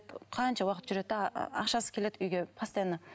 қанша уақыт жүреді де ақшасыз келеді үйге постоянно